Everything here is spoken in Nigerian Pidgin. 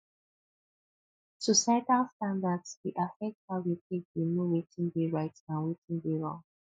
societal standards dey affect how we take dey know wetin dey right and wetin dey wrong